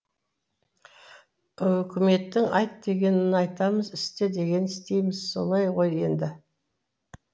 үкіметтің айт дегенін айтамыз істе дегенін істейміз солай ғой енді